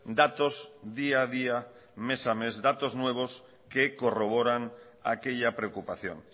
datos día a día mes a mes datos nuevos que corroboran aquella preocupación